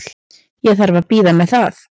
Ég þarf að bíða með það.